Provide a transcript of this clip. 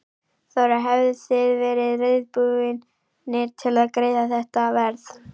Þóra: Hefðuð þið verið reiðubúnir til að greiða þetta verð?